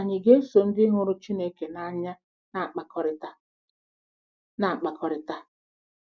Ànyị ga-eso ndị hụrụ Chineke n’anya na-akpakọrịta? na-akpakọrịta?